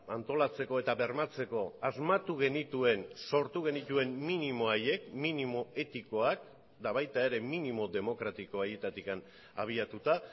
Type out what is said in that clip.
antolatzeko eta bermatzeko asmatu genituen sortu genituen minimo haiek minimo etikoak eta baita ere minimo demokratiko haietatik abiatuta